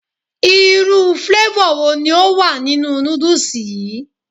Irú flavor wo ni ó wà nínú noodles yi?